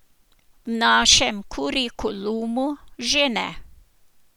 V našem kurikulumu že ne.